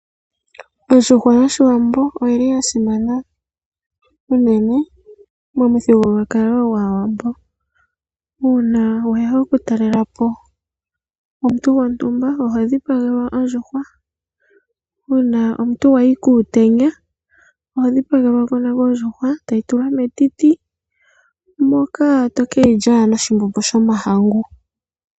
Ondjuhwa yo shiwambo oyili yasimana unene mo muthigululwakalo gwaa wambo. Uuna weya okutalelapo omuntu gwo ntumba oho dhi pagelwa ondjuhwa, uuna omuntu wayi kuu tenya oho dhipagelwa woo ondjuhwa toyi tula metiti moka to ke yi lya noshi mbombo sho mahangu.